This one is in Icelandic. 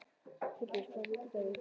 Filippus, hvaða vikudagur er í dag?